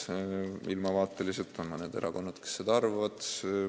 Mõned erakonnad on sellise ilmavaatega, et nad seda arvavad.